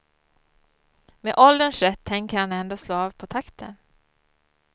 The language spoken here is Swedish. Med ålderns rätt tänker han ändå slå av på takten.